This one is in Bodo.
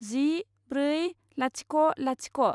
जि ब्रै लाथिख' लाथिख'